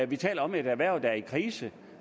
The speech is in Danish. vi taler om et erhverv der er i krise